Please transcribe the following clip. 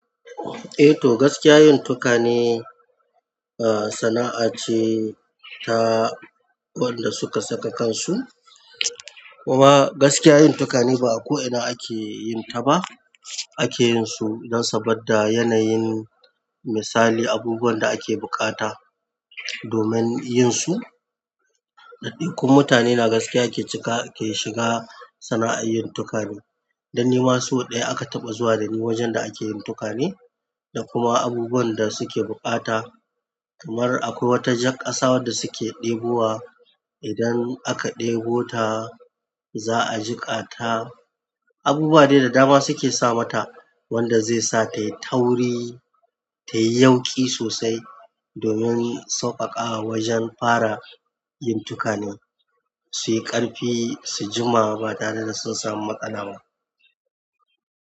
Eh to gaskiya yin tukane, ah, sana'a ce ta waɗanda suka saka kansu. Kuma gaskiya yin tukane ba a ko ina ake yin ta ba. Akeyin su don saboda yanayin misali abubuwan da ake bukata domin yinsu daidai kun mutane na gaskiya ke cika ke shiga sana'ar yin tukane. Dan ni ma sau ɗaya aka taɓa zuwa da ni wajen da ake yin tukane, da kuma abubuwan da suke bukata kamar akwai wata jak ƙasa waɗanda suke ɗebo wa. Idan aka debota za'a jika ta abubuwa dai da dama suke sama ta, wanda zai sa tai tauri, tai yauƙi sosai domin sauƙaƙa wajen fara yin tukane. Su yi ƙarfi, su jima ba tare da su samu matsala ba.